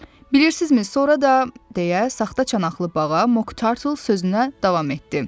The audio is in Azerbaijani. Bilirsizmi, sonra da deyə saxta çanaqlı bağa Mok Tartle sözünə davam etdi.